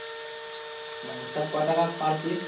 ও তা ক টাকা per piece?